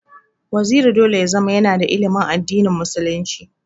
Waziri dole ya zama yana da ilimin addini musulunci.